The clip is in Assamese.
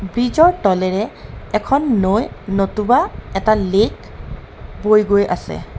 ব্ৰিজ ৰ তলেৰে এখন নৈ নতুবা এটা লেক বৈ গৈ আছে.